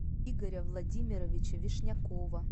игоря владимировича вишнякова